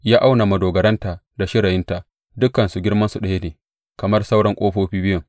Ya auna madogaranta da shirayinta, dukansu girmansu ɗaya ne kamar sauran ƙofofi biyun.